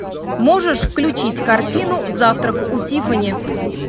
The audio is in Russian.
можешь включить картину завтрак у тиффани